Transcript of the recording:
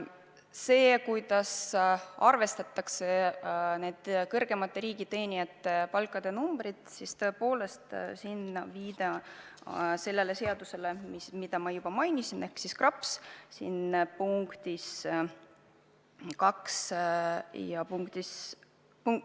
See, kuidas arvestatakse kõrgemate riigiteenijate palkade numbrid, see valem on kirjas seaduses, mida ma mainisin, ehk siis KRAPS-is.